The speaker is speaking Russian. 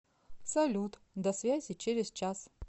салют до связи через час